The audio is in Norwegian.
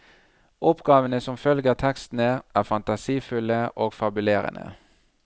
Oppgavene som følger tekstene, er fantasifulle og fabulerende.